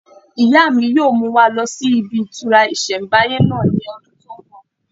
Ìyá mi yóò mú wa lọ sí ibi ìtura ìsẹ̀mbáyé náà ní ọdún tó n bọ̀